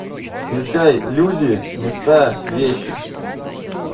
включай люди места вещи